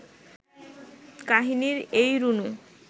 কাহিনির এই রুনু